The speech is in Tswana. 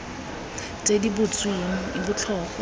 tse di butsweng e botlhokwa